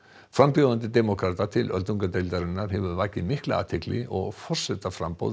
frambjóðandi demókrata til öldungadeildarinnar hefur vakið mikla athygli og forsetaframboð